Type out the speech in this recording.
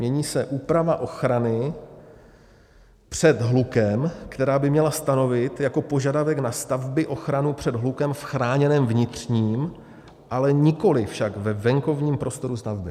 Mění se úprava ochrany před hlukem, která by měla stanovit jako požadavek na stavby ochranu před hlukem v chráněném vnitřním, ale nikoliv však ve venkovním prostoru stavby.